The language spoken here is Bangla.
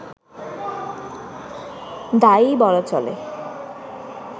দায়ই বলা চলে